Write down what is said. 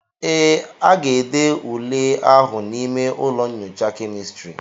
ee, aga-ede ule ahụ n'ime ụlọ nyocha kemịstri